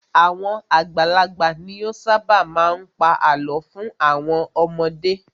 Àwọn àgbàlagbà ni ó ṣábà má a ń pa àlọ́ fún àwọn ọmọdé.